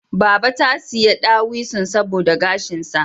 Baba ta saya dawisun saboda gashinsa